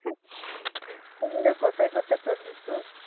কোথায় কোথায় tour দিছো?